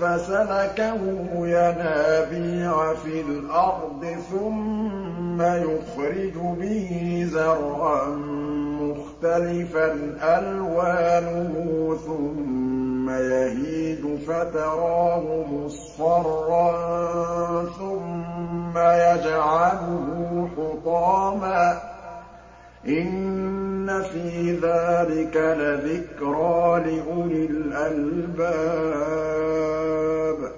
فَسَلَكَهُ يَنَابِيعَ فِي الْأَرْضِ ثُمَّ يُخْرِجُ بِهِ زَرْعًا مُّخْتَلِفًا أَلْوَانُهُ ثُمَّ يَهِيجُ فَتَرَاهُ مُصْفَرًّا ثُمَّ يَجْعَلُهُ حُطَامًا ۚ إِنَّ فِي ذَٰلِكَ لَذِكْرَىٰ لِأُولِي الْأَلْبَابِ